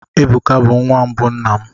Ebuka bụ nwa mbụ nna m.